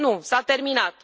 Nu, s a terminat.